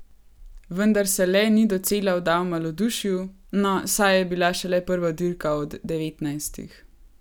Vendar se le ni docela vdal malodušju: 'No, saj je bila šele prva dirka od devetnajstih.